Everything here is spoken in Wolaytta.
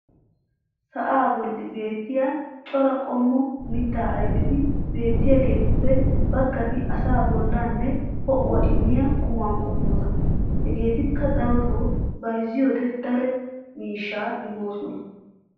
sa"aa boli beettiya cora qommo mitaa ayfetti beettiyaageetuppe bagatti asaa bolaanne ho'uwaa immiyaa qumaa qommota. hageetikka darotoo bayzziyoode daro miishshaa immoosona.